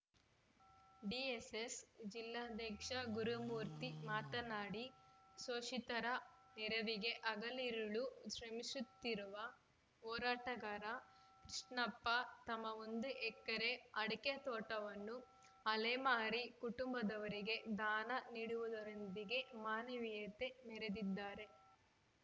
DSS ಜಿಲ್ಲಾಧ್ಯಕ್ಷ ಗುರುಮೂರ್ತಿ ಮಾತನಾಡಿ ಶೋಷಿತರ ನೆರವಿಗೆ ಹಗಲಿರುಳು ಶ್ರಮಿಸುತ್ತಿರುವ ಹೋರಾಟಗಾರ ಕೃಷ್ಣಪ್ಪ ತಮ್ಮ ಒಂದು ಎಕರೆ ಅಡಕೆ ತೋಟವನ್ನು ಅಲೆಮಾರಿ ಕುಟುಂಬದವರಿಗೆ ದಾನ ನೀಡುವುದರೊಂದಿಗೆ ಮಾನವೀಯತೆ ಮೆರೆದಿದ್ದಾರೆ